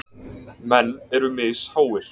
Menn eru misháir.